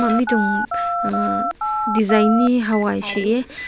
ne tung uh design gai haw se hae.